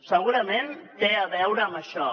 segurament té a veure amb això